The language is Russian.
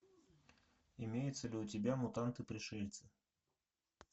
имеется ли у тебя мутанты пришельцы